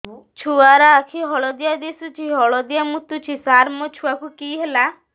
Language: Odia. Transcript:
ଛୁଆ ର ଆଖି ହଳଦିଆ ଦିଶୁଛି ହଳଦିଆ ମୁତୁଛି ସାର ମୋ ଛୁଆକୁ କି ହେଲା